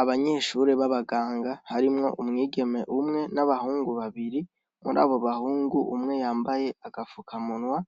Abanyeshure b'ababganga harimwo umwigeme umwe n'abahungu babiri, muri abo bahungu umwe yambaye agapfukamunwa,